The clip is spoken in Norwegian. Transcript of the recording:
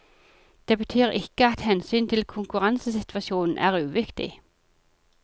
Det betyr ikke at hensynet til konkurransesituasjonen er uviktig.